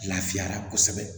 Lafiya la kosɛbɛ